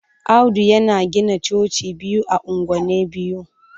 Audu yana gina Coci biyu ah anguwani biyu.